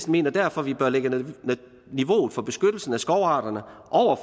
mener derfor at vi bør lægge niveauet for beskyttelsen af skovarterne